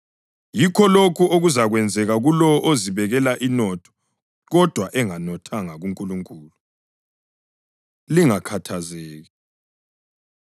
Yikho lokhu okuzakwenzeka kulowo ozibekela inotho kodwa enganothanga kuNkulunkulu.” Lingakhathazeki